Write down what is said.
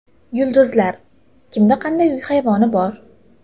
Yulduzlar: kimda qanday uy hayvoni bor?